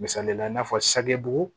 Misalila i n'a fɔ sagibugu